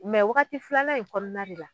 Mɛ wagati filanan in kɔnɔna de la